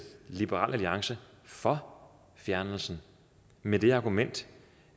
liberal alliance for fjernelsen med det argument